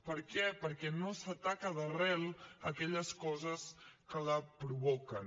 per què perquè no s’ataca d’arrel aquelles coses que la provoquen